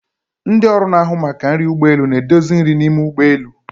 Ndị ọrụ na-ahụ maka nri ụgbọ elu na-edozi nri n'ime ụgbọ elu.